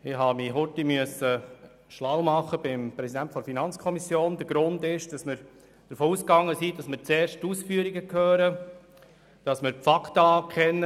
Ich musste mich kurz beim FiKoPräsidenten schlau machen, denn wir sind davon ausgegangen, dass wir zuerst die Ausführungen hören, damit wir die Faktenlage kennen.